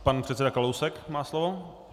Pan předseda Kalousek má slovo.